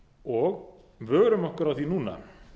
og vörum okkur á því núna